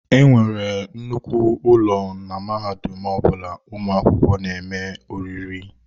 E nwere nnukwu ụlọ na mahadum ọ bụla ụmụ akwụkwọ na-eme oriri.